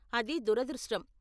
అది దురదృష్టం.